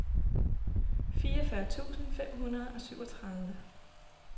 fireogfyrre tusind fem hundrede og syvogtredive